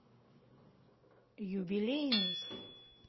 юбилейный